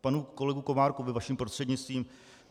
Panu kolegovi Komárkovi vaším prostřednictvím.